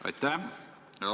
Aitäh!